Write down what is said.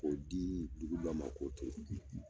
K'o dii dugu dɔ ma o k'o turu